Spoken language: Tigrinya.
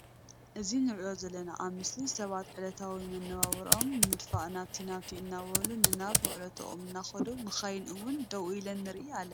እዚ ንሪኦ ዘለና ኣብ ምስሊ ስባት ዕለታዊ ምንባብሮኦም ንምድፋእ ናብቲ ናብቲ እናብሉ ንናብ ዉዕለቶም እናክዱ መካይን እዉን ደዉ ኢለን ንርኢ ኣለና ።